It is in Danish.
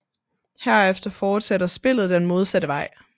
Herefter fortsætter spillet den modsatte vej